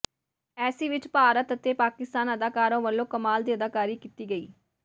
ਇਸ ਵਿੱਚ ਭਾਰਤ ਅਤੇ ਪਾਕਿਸਤਾਨੀ ਅਦਾਕਾਰਾਂ ਵੱਲੋਂ ਕਮਾਲ ਦੀ ਅਦਾਕਾਰੀ ਕੀਤੀ ਗਈ